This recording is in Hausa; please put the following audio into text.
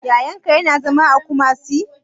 Yayan ka ya na zama a Kumasi?